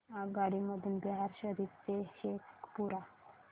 आगगाडी मधून बिहार शरीफ ते शेखपुरा